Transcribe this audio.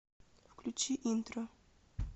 включи интро